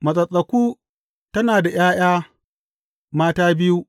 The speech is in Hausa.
Matsattsaku tana da ’ya’ya mata biyu.